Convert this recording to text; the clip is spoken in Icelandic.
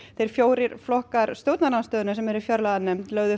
þeir fjórir flokkar stjórnarandstöðunnar sem sitja í fjárlaganefnd lögðu